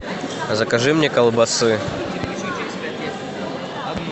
закажи мне колбасы